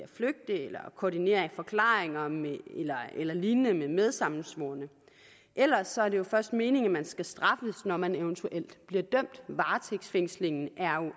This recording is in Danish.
at flygte eller koordinere forklaringer eller lignende med medsammensvorne ellers er det jo først meningen at man skal straffes når man eventuelt bliver dømt varetægtsfængslingen er